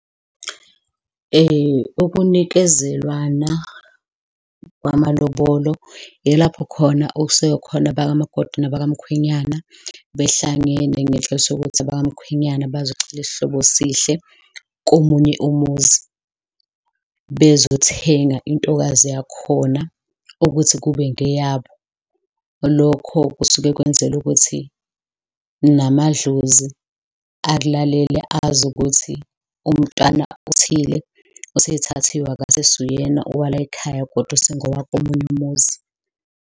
Ukunikezelwana kwamalobolo ilapho khona okusuke khona abakamakoti nabakwamkhwenyana behlangene ngenhloso yokuthi abakamkhwenyana bazocela isihlobo esihle komunye umuzi, bezothenga intokazi yakhona ukuthi kube ngeyabo. Lokho kusuke kwenzelwa ukuthi namadlozi akulalele, azi ukuthi umntwana othile usethathiwe, akasesi uyena owa la ekhaya kodwa usengowa komunye umuzi.